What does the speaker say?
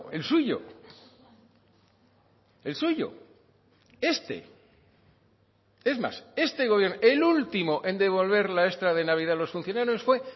el suyo el suyo este es más este gobierno el último en devolver la extra de navidad a los funcionarios fue